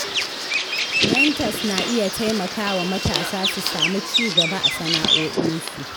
Mentors na iya taimakawa matasa su samu cigaba a sana’o’insu.